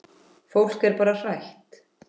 Fólk er bara hrætt.